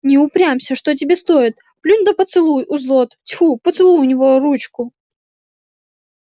не упрямься что тебе стоит плюнь да поцелуй у злод тьфу поцелуй у него ручку